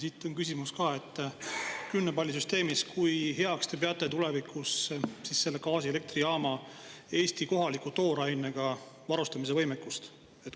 Siit on küsimus ka: kui heaks te peate kümne palli süsteemis tulevikus selle gaasielektrijaama Eesti kohaliku toorainega varustamise võimekust?